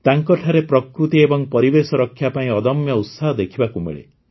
ତାଙ୍କଠାରେ ପ୍ରକୃତି ଏବଂ ପରିବେଶ ରକ୍ଷା ପାଇଁ ଅଦମ୍ୟ ଉତ୍ସାହ ଦେଖିବାକୁ ମିଳେ